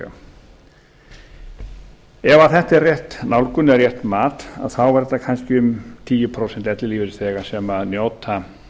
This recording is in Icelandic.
ellilífeyrisþega ef þetta er rétt nálgun eða rétt mat er þetta kannski um tíu prósent ellilífeyrisþega sem njóta